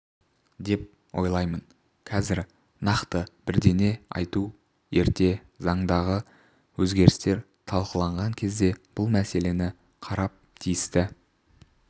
деп ойлаймын қазір нақты бірдеңе айту ерте заңдағы өзгерістер талқыланған кезде бұл мәселені қарап тиісті